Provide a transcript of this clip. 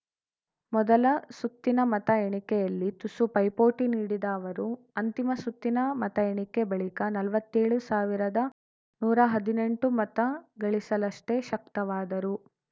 ಮೊದಲ ಸುತ್ತಿನ ಮತ ಎಣಿಕೆಯಲ್ಲಿ ತುಸು ಪೈಪೋಟಿ ನೀಡಿದ ಅವರು ಅಂತಿಮ ಸುತ್ತಿನ ಮತ ಎಣಿಕೆ ಬಳಿಕ ನಲ್ವತ್ತೇಳು ಸಾವಿರದನೂರಾ ಹದಿನೆಂಟು ಮತ ಗಳಿಸಲಷ್ಟೇ ಶಕ್ತವಾದರು